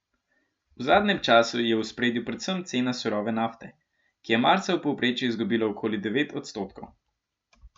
V zadnjem času je v ospredju predvsem cena surove nafte, ki je marca v povprečju izgubila okoli devet odstotkov.